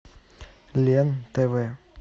лен тв